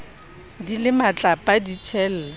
di le matlapa di thella